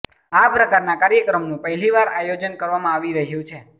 આ પ્રકારના કાર્યક્રમનું પહેલીવાર આયોજન કરવામાં આવી રહ્યુ છે